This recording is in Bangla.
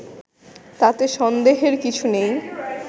তাতে সন্দেহের কিছু নেই